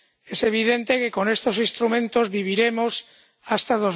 Es evidente que con estos instrumentos viviremos hasta